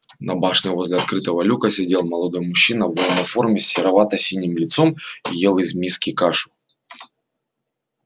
на башне возле открытого люка сидел молодой мужчина в военной форме с серовато-синим лицом и ел из миски кашу